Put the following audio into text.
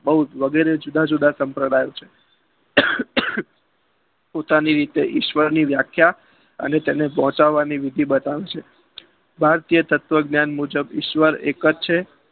બઓ વગેરે જુદા જુદા સમ્પ્રદાયો છે પોતાની રીતે ઈશ્વરની વ્યાખ્યા અને તેને પોહચાવા વિધિ બતાવે છે ભારતીય તત્વજ્ઞાન મુજબ ઈશ્વર એક જ છે